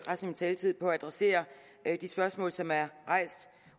min taletid på at adressere de spørgsmål som er rejst